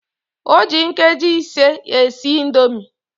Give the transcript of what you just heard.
O ji nkeji ise esi indomi